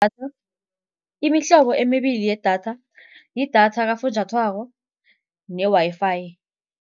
Imihlobo emibili yedatha, yidatha kafunjathwako ne-Wi-Fi.